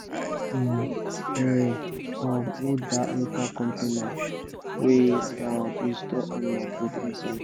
make um air um no da enter container wey um you store animal food inside